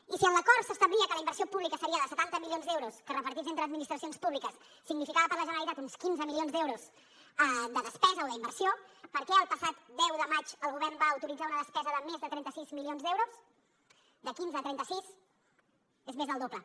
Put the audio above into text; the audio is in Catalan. i si en l’acord s’establia que la inversió pública seria de setanta milions d’euros que repartits entre administracions públiques significava per a la generalitat uns quinze milions d’euros de despesa o d’inversió per què el passat deu de maig el govern va autoritzar una despesa de més de trenta sis milions d’euros de quinze a trenta sis és més del doble